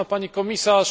Pani Komisarz!